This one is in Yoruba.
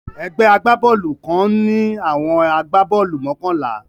Egbé agbá-boolù kan ń ní àwọn agbá-boolù mokànlá